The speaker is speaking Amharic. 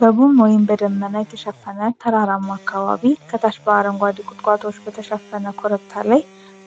በጉም ወይም በደመና የተሸፈነ ተራራማ አካባቢ ከታች በአረንጓዴ ቁጥቋጦዎች በተሸፈነ ኮረብታ ላይ